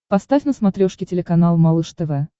поставь на смотрешке телеканал малыш тв